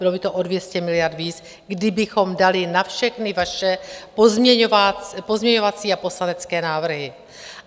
Bylo by to o 200 miliard víc, kdybychom dali na všechny vaše pozměňovací a poslanecké návrhy.